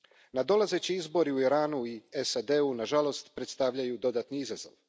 Nadolazeći izbori u Iranu i SAD u nažalost predstavljaju dodatni izazov.